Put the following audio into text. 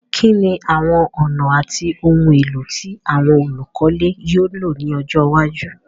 Kíní àwon ònà àti oun élò ti àwon olùkọ́lé yio lo ni ojó iwájú